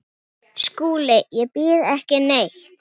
Þér og engum öðrum.